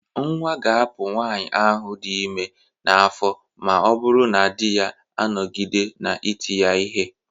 Nnwa ga-apụ nwaanyị ahụ dị ime n'afọ ma ọ bụrụ na di ya anọgide na ị ti ya ihe.